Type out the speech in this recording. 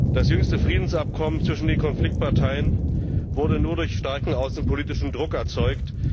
Das jüngste Friedensabkommen zwischen den Konfliktparteien wurde nur durch starken außenpolitischen Druck erzeugt.